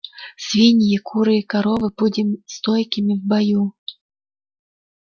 свиньи куры и коровы будем стойкими в бою